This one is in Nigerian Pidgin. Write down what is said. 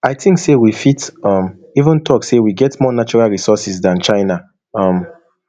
i think say we fit um even tok say we get more natural resources dan china um